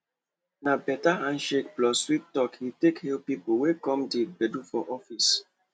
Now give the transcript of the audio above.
na better handshake plus sweet talk he take hail people wey come di gbedu for office